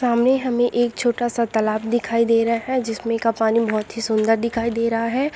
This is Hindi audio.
सामने हमें एक छोटा-सा तालाब दिखाई दे रहा है जिस में का पानी बहुत ही सुंदर दिखाई दे रहा है